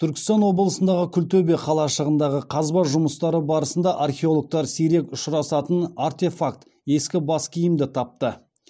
түркістан облысындағы күлтөбе қалашығындағы қазба жұмыстары барысында археологтар сирек ұшырасатын артефакт ескі бас киімді тапты